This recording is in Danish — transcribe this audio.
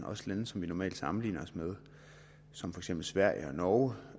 også lande som vi normalt sammenligner os med som for eksempel sverige og norge